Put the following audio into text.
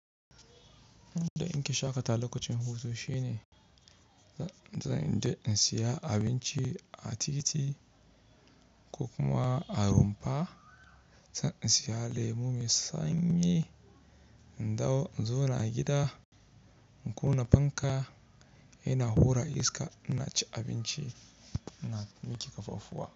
In da in ke shaƙata lokacin hutu shine, zan je in siya abinci a titi ko kuma a rumfa. Zan siya lemo mai sanyi, in dawo in zauna gida, in kunna fanka, ina hura iska ina ci abinci ina miki ƙafafu wa.